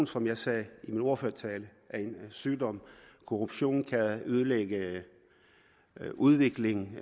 som jeg sagde i min ordførertale er en sygdom korruption kan ødelægge udviklingen